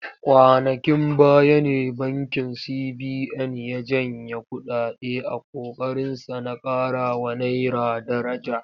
Kwanankin baya ne bankin CBN ya janye kuɗaɗe a ƙoƙarinsa na ƙarawa naira daraja.